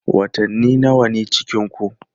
Watanni nawa ne cikinku?